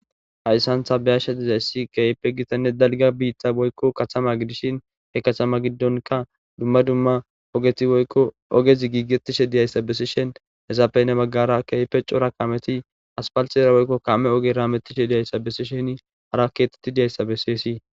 hayssantha biyashsha dizayssi keype gitanne dalga biitta boykko kathama gidishin he katama giddonka dumma dumma ogeti woykko ogezi giigetishe diyayssa besishen hezapene maggara keepe cora kameti aspalxera woykko kame oge raametishe diyayssa besisheni hara keetetti diyayssa beseesi